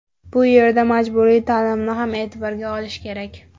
Bu yerda majburiy ta’limni ham e’tiborga olish kerak.